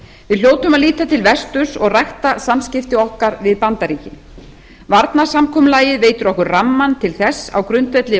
við hljótum að líta til vesturs og rækta samskipti okkar við bandaríkin varnarsamkomulagið veitir okkur rammann til þess á grundvelli